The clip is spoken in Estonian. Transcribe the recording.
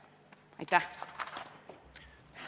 Aitäh!